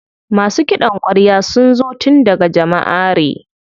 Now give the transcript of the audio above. Masu ƙidan kwarya sun zo tun daga Jamaʼare.